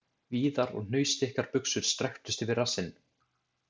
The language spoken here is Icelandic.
Víðar og hnausþykkar buxur strekktust yfir rassinn..